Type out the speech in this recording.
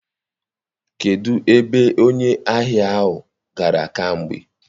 Kedụ ebe onye ahịa ahụ gara kamgbe?